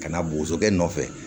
Ka na bosokɛ nɔfɛ